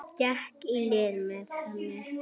Gekk í lið með henni.